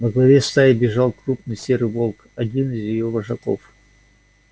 во главе стаи бежал крупный серый волк один из её вожаков